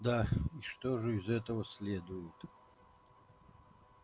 да и что же из этого следует